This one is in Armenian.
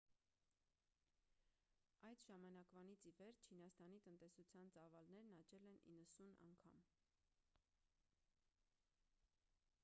այդ ժամանակվանից ի վեր չինաստանի տնտեսության ծավալներն աճել են 90 անգամ